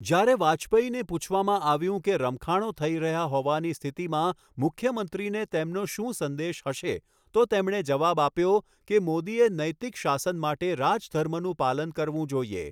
જ્યારે વાજપેયીને પૂછવામાં આવ્યું કે રમખાણો થઈ રહ્યા હોવાની સ્થિતિમાં મુખ્યમંત્રીને તેમનો શું સંદેશ હશે તો તેમણે જવાબ આપ્યો કે મોદીએ નૈતિક શાસન માટે રાજધર્મનું પાલન કરવું જોઈએ.